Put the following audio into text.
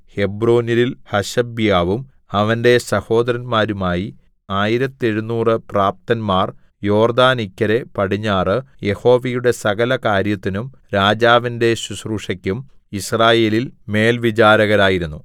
ഹെബ്രോന്യരിൽ ഹശബ്യാവും അവന്റെ സഹോദരന്മാരുമായി ആയിരത്തെഴുനൂറ് പ്രാപ്തന്മാർ യോർദ്ദാനിക്കരെ പടിഞ്ഞാറ് യഹോവയുടെ സകല കാര്യത്തിനും രാജാവിന്റെ ശുശ്രൂഷക്കും യിസ്രായേലിൽ മേൽവിചാരകരായിരുന്നു